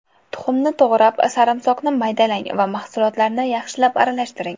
Tuxumni to‘g‘rab, sarimsoqni maydalang va mahsulotlarni yaxshilab aralashtiring.